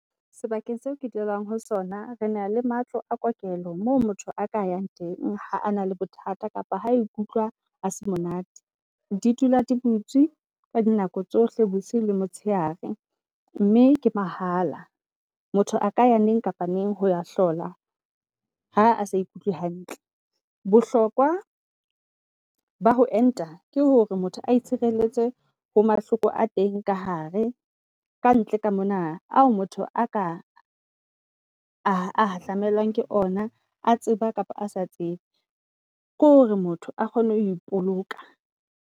Sebakeng seo ke dulang ho sona, re na le matlo a kokelo moo motho a ka yang teng ha a na le bothata kapa ha ikutlwa a se monate. Di dula di butswe ka di nako tsohle hoseng, bosiu le motshehare mme ke mahala. Motho a ka ya neng kapa neng hoya hlola ha a sa ikutlwe hantle. Bohlokwa ba ho enta ke hore motho a itshireletse ho mahloko a teng ka hare kantle ka mona ao motho aka a hahlamelwang ke ona a tseba kapa a sa tsebe. Ke hore motho a kgone hoe poloka.